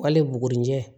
Hali bugunijɛ